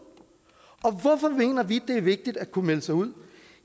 og hvorfor mener vi det er vigtigt at kunne melde sig ud